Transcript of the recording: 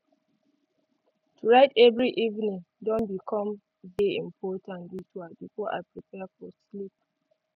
to write every evening don become de important ritual before i prepare for sleeep